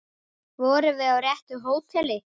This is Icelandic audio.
Vorum við á réttu hóteli?